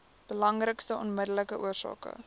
belangrikste onmiddellike oorsake